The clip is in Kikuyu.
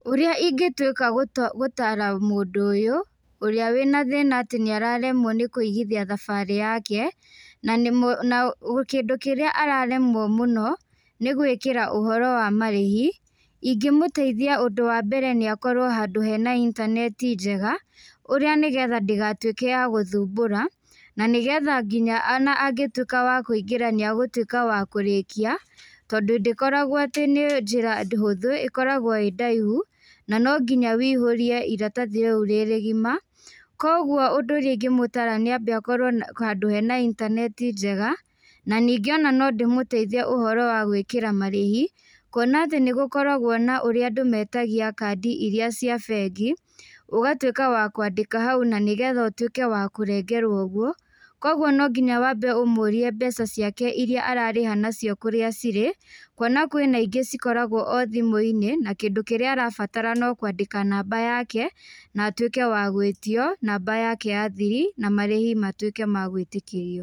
Ũrĩa ingĩtuĩka gũtaara mũndũ ũyũ, ũrĩa wina thĩĩna atĩ nĩararemwo kũigithia thabarĩ yake, na kĩndũ kĩrĩa araremwo mũno nĩ gwĩkĩra ũhoro wa marĩhi, ingĩmũteithia kĩndu kĩa mbere nĩakorwo handũ hena intaneti njega, ũrĩa nĩgetha ndĩgatuĩke ya gũthumbũra, na nĩgetha nginya angĩtuĩka wa kũingĩra nĩagũĩka wa kũrĩkia tondũ ndĩkoragwo atĩ nĩ njĩra hũthũ, ĩkoragwo ĩĩ ndaihu, na nonginya wiihũrie iratathi o ũrĩa rĩgima, koguo ũndũ ũrĩa ingĩmũtaara nĩakorwo handũ hena intaneti njega, na ningĩ ona nondĩmũteithie ũhoro wa gwĩkĩra marĩhi, kwona atĩ nĩgũkoragwo na ũrĩa andũ metagia kadi iria cia bengi, ũgatuĩka wa kwandĩka hau na nĩgetha ũtuĩke wa kũrengerwo ũguo, koguo no nginya wambe ũmũrie mbeca ciake iria ararĩha nacio kũrĩa cirĩ, kwona kwĩ na ingĩ cikoragwo o thimũ-inĩ na kĩndũ kĩrĩa arabatara no kwandĩka namba yake, na atuĩke wa gwĩtio namba yake ya thiri na marĩhi matuĩke ma gwĩtĩkĩrio.